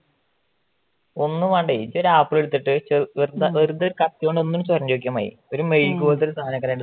ഒന്നും വേണ്ടേ ഒരു ആപ്പിളെടുത്തിട്ട് വെറുതെ കത്തി കൊണ്ട് ഒന്ന് ചേരേണ്ടി നോക്കിയാൽ മതി ഒരുമെഴുക്‌ പോലെത്തെ സാധനം